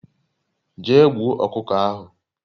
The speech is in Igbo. Jee gbuo okuko ahu